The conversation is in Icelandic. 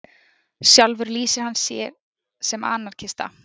Sjálfur lýsir hann sé sem anarkista